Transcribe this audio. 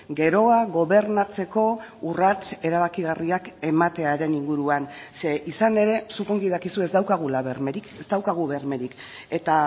geroa gobernatzeko urrats erabakigarriak ematearen inguruan ze izan ere zuk ongi dakizu ez daukagula bermerik ez daukagu bermerik eta